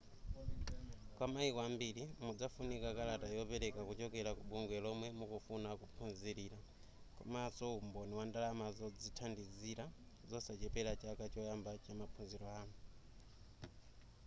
kwa mayiko ambiri mudzafunika kalata yopereka kuchokera ku bungwe lomwe mukufuna kukaphunzirira komanso umboni wa ndalama zodzithandizira zosachepera chaka choyamba chamaphunziro anu